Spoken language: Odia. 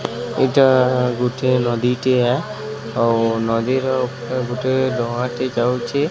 ଏଇଟା ଗୋଟିଏ ନଦୀ ଟିଏ ଆଉ ନଦୀ ର ଉପରେ ଗୋଟିଏ ଡ଼ଙ୍ଗା ଟେ ଯାଉଚି।